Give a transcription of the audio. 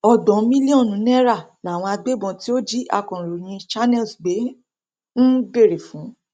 ọgbọn mílíọnù náírà làwọn agbébọn tó jí akọròyìn channels gbé ń béèrè fún